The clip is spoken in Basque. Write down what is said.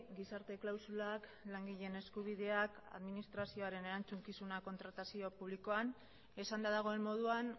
gizarte klausulak langileen eskubideak administrazioaren erantzukizuna kontratazio publikoan esanda dagoen moduan